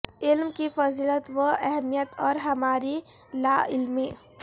علم کی فضیلت و اہمیت اور ہماری لا علمی